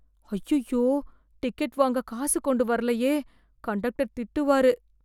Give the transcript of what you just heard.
அய்யய்யோ டிக்கெட் வாங்க காசு கொண்டு வரலையே கண்டக்டர் திட்டுவாரு.